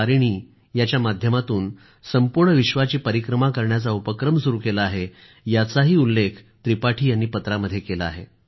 तारिणी च्या माध्यमातून संपूर्ण विश्वाची परिक्रमा करण्याचा उपक्रम सुरू केला आहे त्याचाही उल्लेख त्रिपाठी यांनी पत्रामध्ये केला आहे